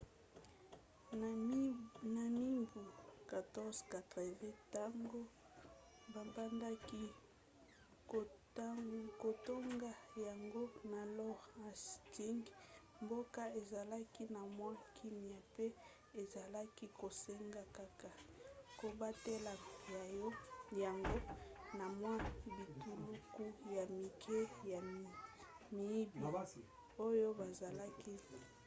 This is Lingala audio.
na mibu 1480 ntango babandaki kotonga yango na lord hastings mboka ezalaki na mwa kimia mpe ezalaki kosenga kaka kobatela yango na mwa bituluku ya mike ya miyibi oyo bazalaki koya